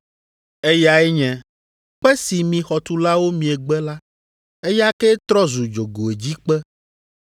Eyae nye, “ ‘Kpe si mi xɔtulawo miegbe la, eya kee trɔ zu dzogoedzikpe.’